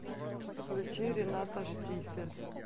включи рената штифель